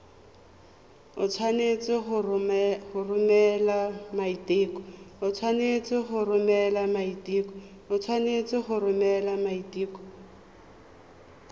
o tshwanetse go romela maiteko